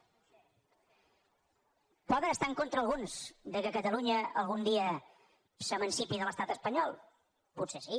poden estar en contra alguns que catalunya algun dia s’emancipi de l’estat espanyol potser sí